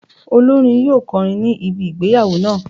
Olórin yóò kọrin ní ibi ìgbéyàwó náà.